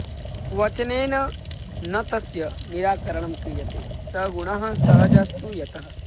वचनेन न तस्य निराकरणं क्रियते स गुणः सहजस्तु यतः